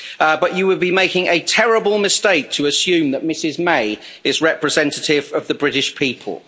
But you would be making a terrible mistake to assume that Mrs May is representative of the British people.